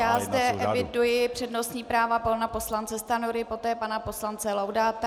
Já zde eviduji přednostní práva - pana poslance Stanjury, poté pana poslance Laudáta.